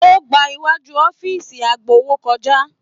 O gbà iwájú ọ̀fiísí agbowó kọjá.